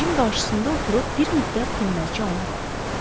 Gəncin qarşısında oturub bir müddət dinməzcə ona baxdı.